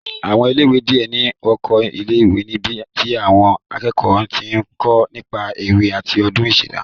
Àwọn ilé ìwé díẹ̀ ní oko ilé ìwé níbi tí àwọn akẹ́kọ̀ọ́ ti ń kó nípa ewé àti ohun ìṣẹ̀dá